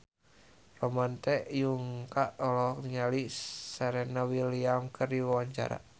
Ramon T. Yungka olohok ningali Serena Williams keur diwawancara